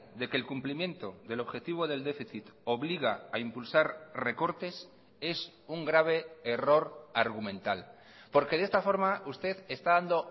de que el cumplimiento del objetivo del déficit obliga a impulsar recortes es un grave error argumental porque de esta forma usted está dando